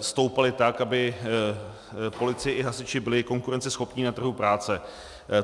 stoupaly tak, aby policie i hasiči byli konkurenceschopní na trhu práce.